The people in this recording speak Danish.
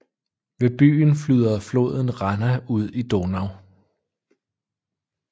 Ved byen flyder floden Ranna ud i Donau